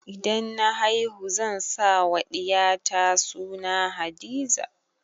Idan na haihu zan sa wa ɗiya ta suna Hadiza